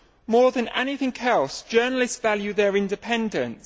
More than anything else, journalists value their independence.